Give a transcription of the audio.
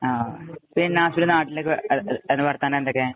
പിന്നെ നാസിമുദ്ദീന്‍റെ നാട്ടിലൊക്കെ അതി അതിനു വര്‍ത്താനം എന്തൊക്കെ?